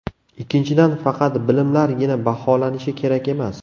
Ikkinchidan, faqat bilimlargina baholanishi kerak emas.